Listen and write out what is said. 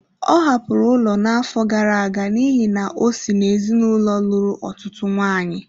Ọ hapụrụ ụlọ n'afọ gara aga n'ihi na o si n'ezinụlọ lụrụ ọtụtụ nwaanyị.